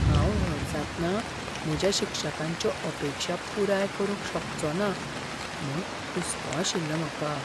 हांव व्हड जातना म्हज्या शिक्षकांच्यो अपेक्षा पुराय करूंक शकचोना म्हूण हुसको आशिल्लो म्हाका.